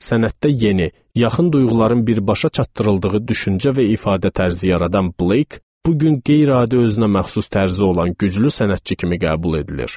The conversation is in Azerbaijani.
Sənətdə yeni, yaxın duyğuların birbaşa çatdırıldığı düşüncə və ifadə tərzi yaradan Blake bu gün qeyri-adi özünəməxsus tərzi olan güclü sənətçi kimi qəbul edilir.